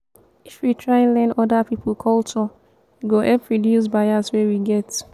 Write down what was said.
if we try learn oda pipo culture e go help reduce bias wey we get.